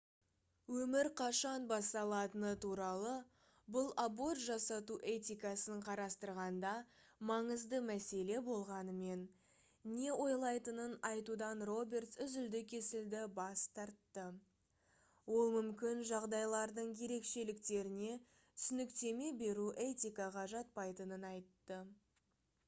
өмір қашан басталатыны туралы бұл аборт жасату этикасын қарастырғанда маңызды мәселе болғанымен не ойлайтынын айтудан робертс үзілді-кесілді бас тартты ол мүмкін жағдайлардың ерекшеліктеріне түсініктеме беру этикаға жатпайтынын айтты